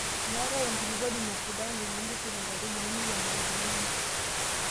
meetai enkulupuoni nasidani tinintushul inkaitubulu mairiamari tenebo